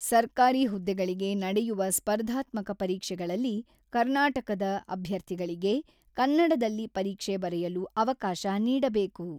ಸರ್ಕಾರಿ ಹುದ್ದೆಗಳಿಗೆ ನಡೆಯುವ ಸ್ಪರ್ಧಾತ್ಮಕ ಪರೀಕ್ಷೆಗಳಲ್ಲಿ ಕರ್ನಾಟಕದ ಅಭ್ಯಥಿಗಳಿಗೆ ಕನ್ನಡದಲ್ಲಿ ಪರೀಕ್ಷೆ ಬರೆಯಲು ಅವಕಾಶ ನೀಡಬೇಕು.